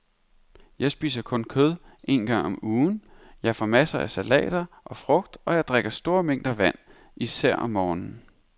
Jeg spiser kun kød en gang om ugen, jeg får masser af salater og frugt og jeg drikker store mængder vand, især om morgenen.